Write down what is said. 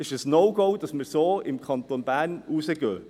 Es ist ein No-Go, dass wir im Kanton Bern so damit rausgehen.